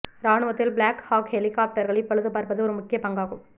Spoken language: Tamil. இராணுவத்தில் பிளாக் ஹாக் ஹெலிகாப்டர்களை பழுது பார்ப்பது ஒரு முக்கிய பங்காகும்